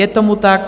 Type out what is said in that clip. Je tomu tak.